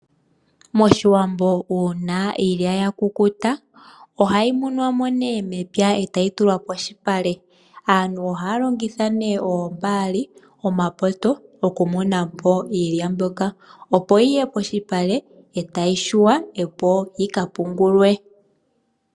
Moshiwambo uuna iilya ya kukuta ohayi tewa mo mepya etayi tulwa polupale aantu ohaya longitha oombali ,omapoto oku teya iilya mbyoka opoyiye polupale etayi yungulwa opoyi ka pungulwe.